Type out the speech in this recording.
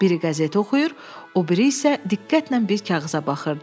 Biri qəzet oxuyur, o biri isə diqqətlə bir kağıza baxırdı.